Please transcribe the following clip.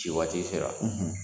Ci waati sera